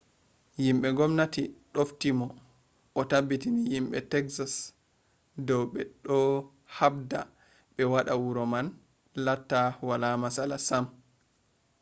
yimɓe ngomnati ɗofti mo o tabbitini yimɓe teksas dow ɓe ɗo haɓda ɓe waɗa wuro man latta wala matsala sam